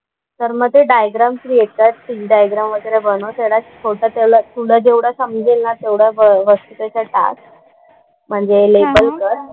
तर मग ते डायग्राम थ्रू येतात ती डायग्राम्स वगैरे बनव. त्यालाच पुढचा त्याला तुला जेवढं समजेल ना तेवढं वस्तू त्याच्यात टाक. म्हणजे लेबल कर.